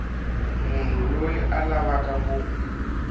munhu loyi a lavaka ku